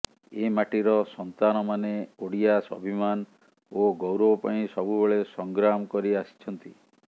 ଏ ମାଟିର ସନ୍ତାନମାନେ ଓଡ଼ିଆ ସ୍ୱାଭିମାନ ଓ ଗୌରବ ପାଇଁ ସବୁବେଳେ ସଂଗ୍ରାମ କରି ଆସିଛନ୍ତି